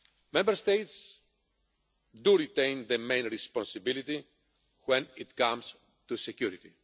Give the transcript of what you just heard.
Member States retain the main responsibility when it comes to security.